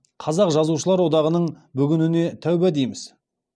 қазақ жазушыларылар одағының бүгініне тәуба дейміз